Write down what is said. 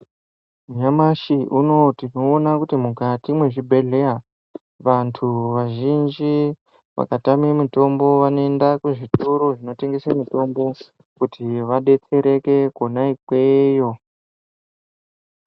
Nyamashi unowo tinoona kuti mukati mwezvibhehleya vantu vazhinji vakatame mitombo vanoenda kuzvitoro zvinotengese mitombo kuti vadetsereke konaikweyo.